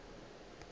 yo e bego e le